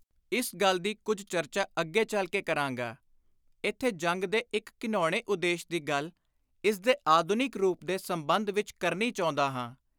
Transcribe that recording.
ਇਸ ਗੱਲ ਦੀ ਕੁਝ ਚਰਚਾ ਅੱਗੇ ਚੱਲ ਕੇ ਕਰਾਂਗਾ, ਇਥੇ ਜੰਗ ਦੇ ਇਕ ਘਿਣਾਉਣੇ ਉਦੇਸ਼ ਦੀ ਗੱਲ, ਇਸਦੇ ਆਧੁਨਿਕ ਰੂਪ ਦੇ ਸੰਬੰਧ ਵਿੱਚ ਕਰਨੀ ਚਾਹੁੰਦਾ ਹਾਂ।